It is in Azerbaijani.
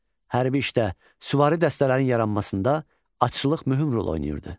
Hərbi işdə süvari dəstələrin yaranmasında atçılıq mühüm rol oynayırdı.